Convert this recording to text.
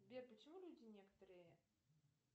сбер почему люди некоторые